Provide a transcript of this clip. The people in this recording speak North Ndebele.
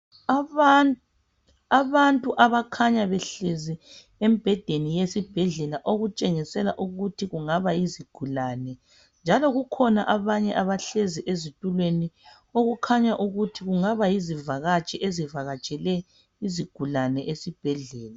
Abantu abakhanya behlezi embhedeni yesibhedlela okutshengisela ukuthi kungaba yizigulane njalo kukhona abanye abahlezi ezitulweni okukhanya ukuthi kungaba yizivakatshi ezivakatshele izigulani esibhedlela.